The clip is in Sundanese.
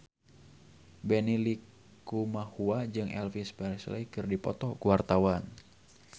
Benny Likumahua jeung Elvis Presley keur dipoto ku wartawan